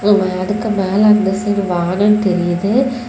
மேகத்துக்கு மேல அந்த சைடு வான தெரியுது.